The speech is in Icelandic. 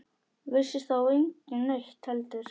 Vissi þá enginn neitt heldur?